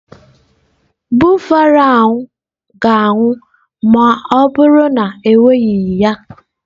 Buffalo ahụ ga-anwụ ma ọ bụrụ na ewereghị ya.